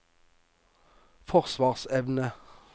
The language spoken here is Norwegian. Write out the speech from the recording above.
forsvarsevne